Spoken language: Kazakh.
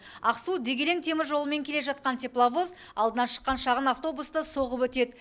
ақсу дегелең теміржолымен келе жатқан тепловоз алдынан шыққан шағын автобусты соғып өтеді